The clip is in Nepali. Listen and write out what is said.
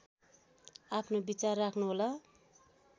आफ्नो विचार राख्नुहोला